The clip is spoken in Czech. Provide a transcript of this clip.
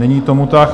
Není tomu tak.